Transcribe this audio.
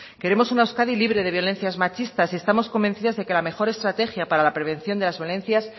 queremos una euskadi libre de violencia machistas y estamos convencidas de que la mejor estrategia para la prevención de las violencias